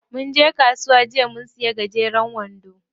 Munje kasuwa jiya mun siya gajeren wando.